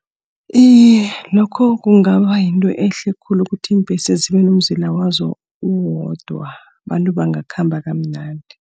Iye, lokho kungaba yinto ehle khulu ukuthi iimbhesi zibe nomzila wazo uwodwa. Abantu bangakhamba kamnandi.